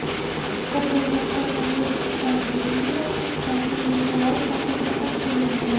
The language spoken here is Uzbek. Ko‘rgazma koronavirus pandemiyasi tufayli virtual shaklda tashkil etilgan.